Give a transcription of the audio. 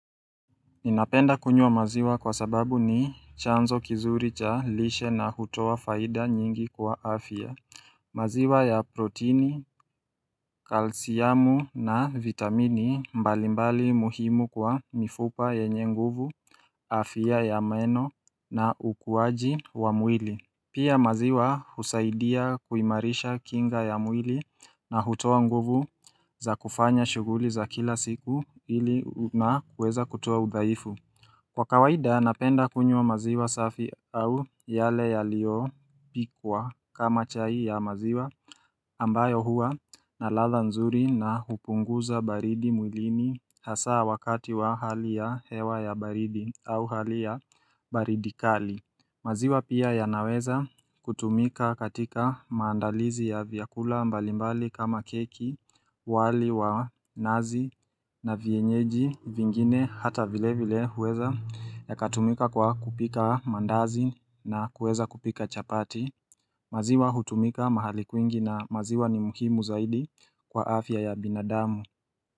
Ninapenda kunywa maziwa kwa sababu ni chanzo kizuri cha lishe na hutowa faida nyingi kwa afya. Maziwa ya protini, kalsiamu na vitamini mbalimbali muhimu kwa mifupa yenye nguvu, afia ya meno na ukuwaji wa muili. Pia maziwa husaidia kuimarisha kinga ya mwili na hutoa nguvu za kufanya shuguli za kila siku ili na kueza kutuo udhaifu. Kwa kawaida napenda kunyu wa maziwa safi au yale ya lio pikwa kama chai ya maziwa ambayo hua na latha nzuri na hupunguza baridi mwilini hasaa wakati wa hali ya hewa ya baridi au hali ya baridi kali maziwa pia ya naweza kutumika katika maandalizi ya vyakula mbalimbali kama keki, wali wa nazi na vienyeji vingine hata vile vile huweza ya katumika kwa kupika mandazi na kueza kupika chapati maziwa hutumika mahali kwingi na maziwa ni muhimu zaidi kwa afya ya binadamu.